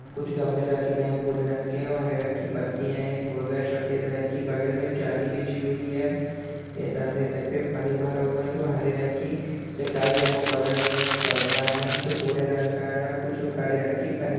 कुछ गमले रखे गए हैं भूरे रंग के और हरे रंग की पत्तियाँ हैंएक मुर्गा है सफेद रंग की बगल में जाली बिछी हुई है ये सामने के साइड पे पानी भरा हुआ है जो हरे रंग की उस पे काई जमा हैबगल में एक पर्दा है जो भूरे रंग का है और कुछ काली रंग की पन्नी --